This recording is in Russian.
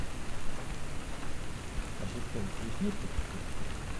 ассистент здесь есть экскурсии